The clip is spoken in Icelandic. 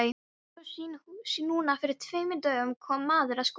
Svo núna fyrir tveimur dögum kom maður að skoða.